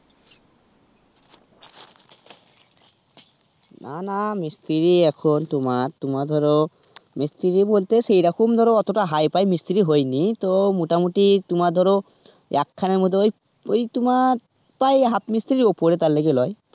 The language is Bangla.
না না মিস্ত্রি এখন তোমার তোমার ধরো মিস্ত্রি বলতে সেইরকম ধরো অতোটা hi-fi মিস্ত্রি হইনি. তো মোটামুটি তোমার ধরো একখানের মতই ওই তোমার প্রায় half মিস্ত্রির উপরে তার লিগে লয়.